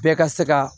Bɛɛ ka se ka